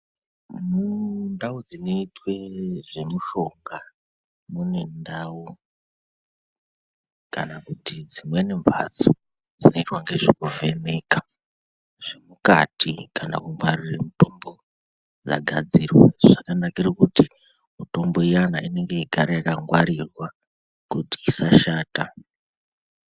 Mundau dzinoitwe zvemishonga mune ndau kana kuti dzimweni mhatso dzinoitwa nezvekuvhenka zvemumati kana kungwarirw mutombo dzagadzirwa zvakanakire kuti mitombo iyana igare yakangwarirwa kuti isashata.